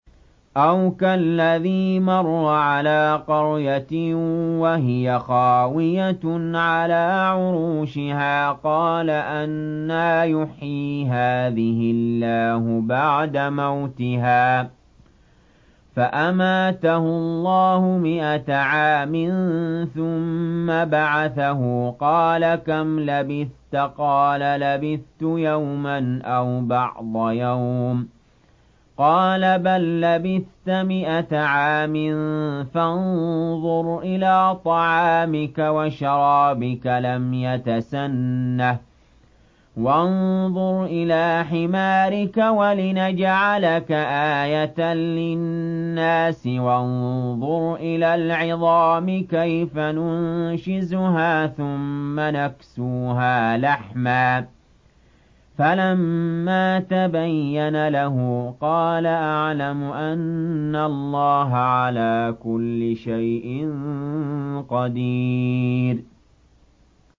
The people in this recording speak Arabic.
أَوْ كَالَّذِي مَرَّ عَلَىٰ قَرْيَةٍ وَهِيَ خَاوِيَةٌ عَلَىٰ عُرُوشِهَا قَالَ أَنَّىٰ يُحْيِي هَٰذِهِ اللَّهُ بَعْدَ مَوْتِهَا ۖ فَأَمَاتَهُ اللَّهُ مِائَةَ عَامٍ ثُمَّ بَعَثَهُ ۖ قَالَ كَمْ لَبِثْتَ ۖ قَالَ لَبِثْتُ يَوْمًا أَوْ بَعْضَ يَوْمٍ ۖ قَالَ بَل لَّبِثْتَ مِائَةَ عَامٍ فَانظُرْ إِلَىٰ طَعَامِكَ وَشَرَابِكَ لَمْ يَتَسَنَّهْ ۖ وَانظُرْ إِلَىٰ حِمَارِكَ وَلِنَجْعَلَكَ آيَةً لِّلنَّاسِ ۖ وَانظُرْ إِلَى الْعِظَامِ كَيْفَ نُنشِزُهَا ثُمَّ نَكْسُوهَا لَحْمًا ۚ فَلَمَّا تَبَيَّنَ لَهُ قَالَ أَعْلَمُ أَنَّ اللَّهَ عَلَىٰ كُلِّ شَيْءٍ قَدِيرٌ